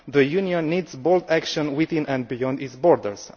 The Union needs bold action within and beyond its borders.